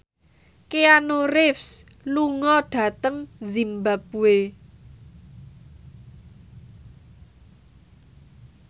Keanu Reeves lunga dhateng zimbabwe